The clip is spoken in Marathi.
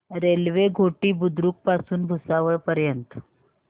रेल्वे घोटी बुद्रुक पासून भुसावळ पर्यंत